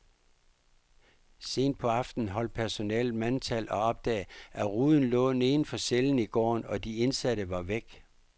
Sent på aftenen holdt personalet mandtal og opdagede, at ruden lå neden for cellen i gården, og de indsatte var væk.